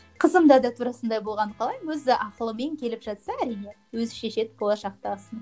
қызымда да тура сондай болғанын қалаймын өзі ақылымен келіп жатса әрине өзі шешеді болашақтағысын